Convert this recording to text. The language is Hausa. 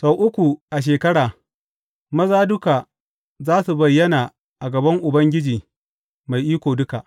Sau uku a shekara, maza duka za su bayyana a gaban Ubangiji Mai Iko Duka.